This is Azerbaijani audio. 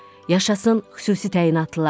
Yaşasın xüsusi təyinatlılar.